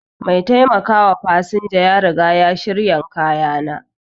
Mai taimakawa fasinja ya riga ya shirya kayana.